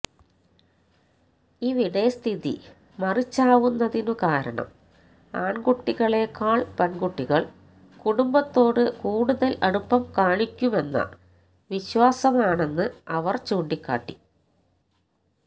ഇവിടെ സ്ഥിതി മറിച്ചാവുന്നതിന് കാരണം ആണ്കുട്ടികളേക്കാള് പെണ്കുട്ടികള് കുടുംബത്തോട് കൂടുതല് അടുപ്പം കാണിക്കുമെന്ന വിശ്വാസമാണെന്ന് അവര് ചൂണ്ടിക്കാട്ടി